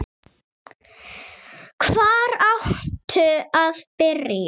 Hvar áttu að byrja?